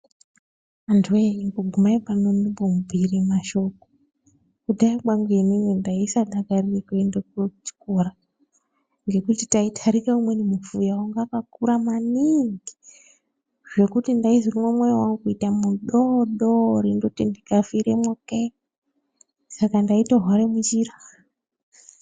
Antu voye imbogumai pano ndimbo mubhuire mashoko. Kudhaya kwangu ini ndaisa dakarire kuenda kuchikora ngekuti taitarika umweni mufuya vakakura maningi. Zvekuti ndaizwa mwoyo vangu kuita mudodori ndoti ndikafiremwo kee, saka ndaito hware munjira.